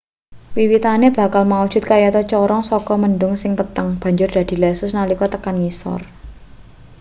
wiwitane bakal maujud kayata corong saka mendhung sing peteng banjur dadi lesus nalika tekan ngisor